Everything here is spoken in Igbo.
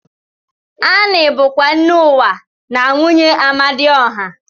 Ani bu kwa nne uwa na nwunye Amadioha.